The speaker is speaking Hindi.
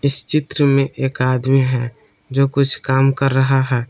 इस चित्र में एक आदमी है जो कुछ काम कर रहा है।